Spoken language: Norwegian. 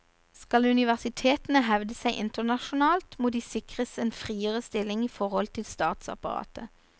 Skal universitetene hevde seg internasjonalt, må de sikres en friere stilling i forhold til statsapparatet.